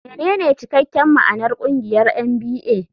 Menene cikakken ma'anar ƙungiyar NBA?